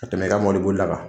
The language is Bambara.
Ka tɛmɛ i ka mobilibolila kan